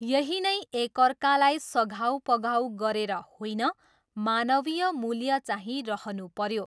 यही नै एकाअर्काकलाई सघाउपघाउ गरेर होइन, मानवीय मूल्य चाहिँ रहनुपऱ्यो।